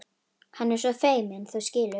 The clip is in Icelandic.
Hann er svo feiminn, þú skilur.